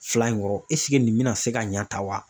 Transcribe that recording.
Fila in kɔrɔ nin bɛna se ka ɲɛ tan wa